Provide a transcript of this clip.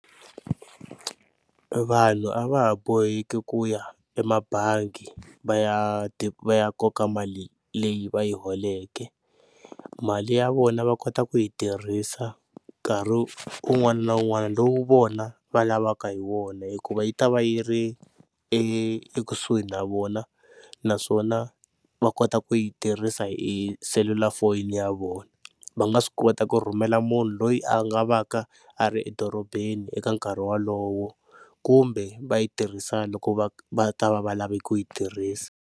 Vanhu a va ha boheki ku ya emabangi va ya va ya koka mali leyi va yi holeke mali, ya vona va kota ku yi tirhisa nkarhi wun'wana na wun'wana lowu vona va lavaka hi wona hikuva yi ta va yi ri e ekusuhi na vona naswona va kota ku yi tirhisa hi selulafoni ya vona. Va nga swi kota ku rhumela munhu loyi a nga va ka a ri edorobeni eka nkarhi wolowo kumbe va yi tirhisa loko va va ta va va lava ku yi tirhisa.